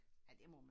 Ja det må man